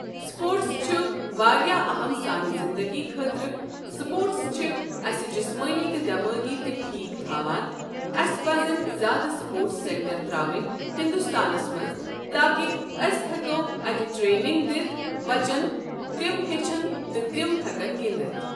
sports چھ واریاہ أہَم سانہِ زِندگی خٲطرٕ سپوٹٕس چھِ اَسہِ جِسمٲنی تہٕ دٮ۪مٲغی تہِ ٹھیٖک تھَاوان اسہِ پزٮن زیادٕ سپوٹٕس سٮ۪نٹَر ترٛاوٕنۍ ہندُستانَس منٛز تاکہ اأسۍ ہٮ۪کو اتہ ٹرٛینِنٛگ دِتھ بجن تِم ہیٚچھن تہٕ تِم ہیٚکن گِنٛدِتھ